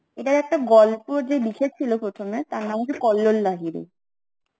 এটা একটা গল্প যে লিখেছিল প্রথমে তার নাম হচ্ছে কল্লোল লাহিড়ী